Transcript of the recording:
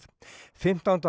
fimmtánda